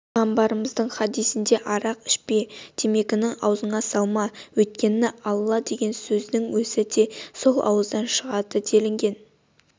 пайғамбарымыздың хадисінде арақ ішпе темекіні аузыңа салма өйткен алла деген сөздің өзі де сол ауыздан шығады делінген